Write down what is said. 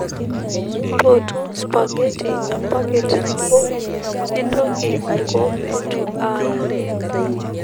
mpotu spaghetti epakit nabo nintoki aiko meetu aaya